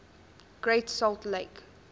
great salt lake